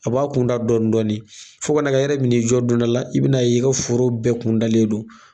A b'a kun da dɔɔni dɔɔni fo ka na kɛ i yɛrɛ bi n'i jɔ don dɔ la i bɛ n'a ye ko foro bɛɛ kun dalen don